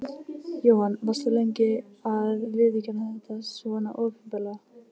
Jóhann: Varst þú lengi að viðurkenna þetta svona opinberlega?